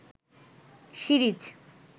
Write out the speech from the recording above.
series